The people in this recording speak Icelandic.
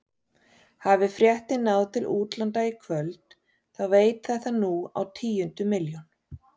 Hafi fréttin náð til útlanda í kvöld þá veit þetta nú á tíundu milljón.